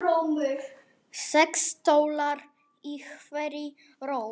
Sex stólar í hverri röð.